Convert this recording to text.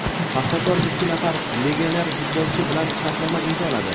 "Paxtakor" ikki nafar legioner futbolchi bilan shartnoma imzoladi.